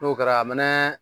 N'o kɛra a mɛ nɛ